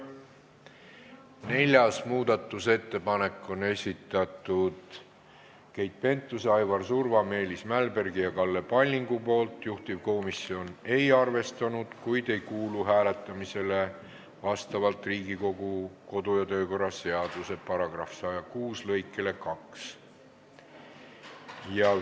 Neljanda muudatusettepaneku on esitanud Keit Pentus-Rosimannus, Aivar Surva, Meelis Mälberg ja Kalle Palling, juhtivkomisjon ei ole arvestanud, kuid vastavalt Riigikogu kodu- ja töökorra seaduse § 106 lõikele 2 ei kuulu ettepanek hääletamisele.